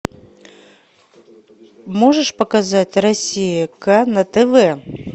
можешь показать россия к на тв